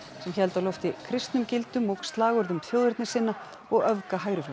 sem héldu á lofti kristnum gildum og slagorðum þjóðernissinna og